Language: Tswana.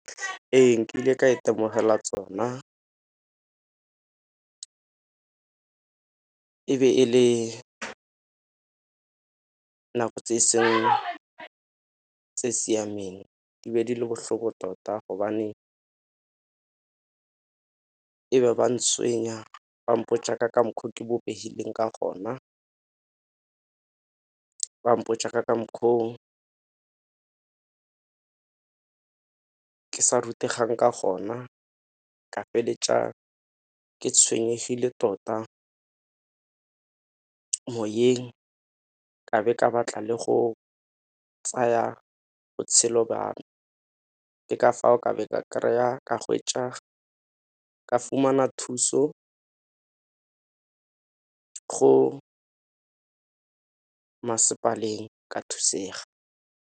Ee, nkile ka itemogela tsona e be e le nako tse e seng tse siameng di be di le bohloko tota gobane e ba ntswenya ba mpotša ka mokgwa ke bopehileng ka gona, ba mpotša ka makgwa o ke sa rutegang ka gona, ka feletša ke tshwenyehile tota moyeng ka be ke a batla le go tsaya botshelo jwa me. Ke ka fao ka be ke a kry-a, ka hwetša, ka fumana thuso go masepaleng ka thusega.